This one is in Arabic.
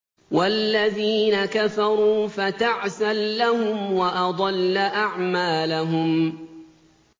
وَالَّذِينَ كَفَرُوا فَتَعْسًا لَّهُمْ وَأَضَلَّ أَعْمَالَهُمْ